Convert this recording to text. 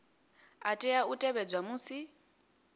a tea u tevhedzwa musi